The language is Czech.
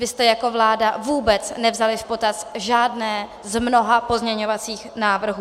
Vy jste jako vláda vůbec nevzali v potaz žádné z mnoha pozměňovacích návrhů.